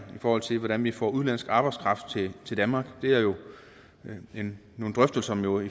i forhold til hvordan vi får udenlandsk arbejdskraft til danmark det er jo nogle drøftelser nogle